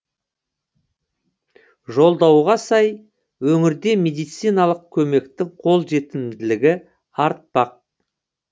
жолдауға сай өңірде медициналық көмектің қолжетімділігі артпақ